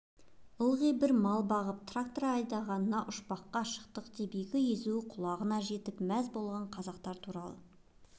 ылғи бр мал бағып трактор айдағанына ұшпаққа шықтық деп екі езу екі құлағына жетіп мәз болған қазақтар туралы